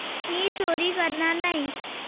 मी चोरी करणार नाही.